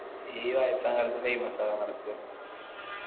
ഈ വയസാം കാലത്ത് famous ആവാൻ നടക്കാ